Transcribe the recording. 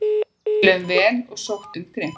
Við spiluðum vel og sóttum grimmt